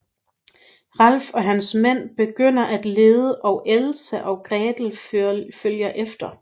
Ralf og hans mænd begynder at lede og Elsa og Gretel følger efter